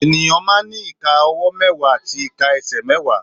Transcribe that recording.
Ènìyàn máa ń ní ìka ọwọ́ mẹ́wàá àti ìka ẹsẹ̀ mẹ́wàá